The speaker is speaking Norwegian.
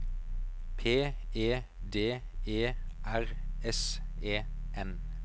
P E D E R S E N